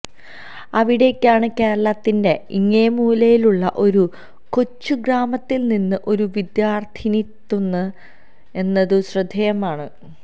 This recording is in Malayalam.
അവിടേക്കാണ് കേരളത്തിന്റെ ഇങ്ങേ മൂലയിലുള്ള ഒരു കൊച്ചുഗ്രാമത്തിൽനിന്ന് ഒരു വിദ്യാർഥിനിയെത്തുന്നത് എന്നതും ശ്രദ്ധേയമാണ്